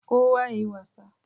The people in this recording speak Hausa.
kowa ya yi wasa